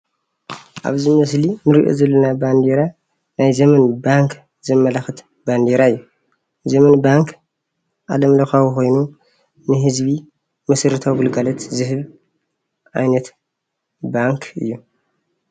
አብዚ ምስሊ እንሪኦ ዘለና ባንዴራ ናይ ዘመን ባንክ ዘመላክት ባንዴራ እዩ። ዘመን ባንክ ዓለም ለካዊ ኮይኑ ንህዝቢ መሰረታዊ ግልጋሎት ዝህብ ዓይነት ባንክ እዩ።